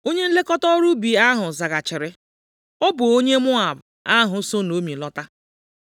Onye nlekọta ọrụ ubi ahụ zaghachiri, “Ọ bụ onye Moab ahụ so Naomi lọta.